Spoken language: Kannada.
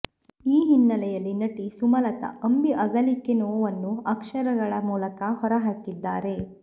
ಈ ಹಿನ್ನೆಲೆಯಲ್ಲಿ ನಟಿ ಸುಮಲತ ಅಂಬಿ ಅಗಲಿಕೆ ನೋವನ್ನು ಅಕ್ಷರಗಳ ಮೂಲಕ ಹೊರ ಹಾಕಿದ್ದಾರೆ